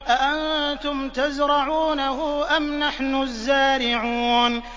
أَأَنتُمْ تَزْرَعُونَهُ أَمْ نَحْنُ الزَّارِعُونَ